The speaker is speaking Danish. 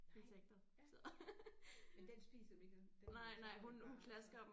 Nej ja men den spiser dem ikke den den øh tager dem bare og så